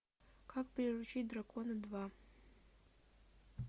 как приручить дракона два